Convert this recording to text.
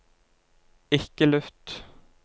ikke lytt